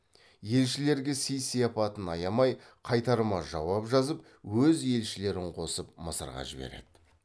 елшілерге сый сияпатын аямай қайтарма жауап жазып өз елшілерін қосып мысырға жібереді